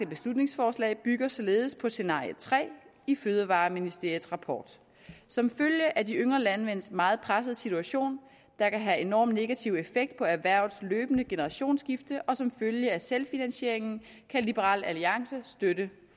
beslutningsforslag bygger således på scenario tre i fødevareministeriets rapport som følge af de yngre landmænds meget pressede situation der kan have enormt negativ effekt på erhvervets løbende generationsskifte og som følge af selvfinansieringen kan liberal alliance støtte